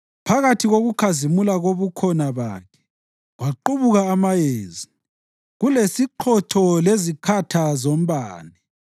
Phakathi kokukhazimula kobukhona bakhe kwaqubuka amayezi, kulesiqhotho lezikhatha zombane.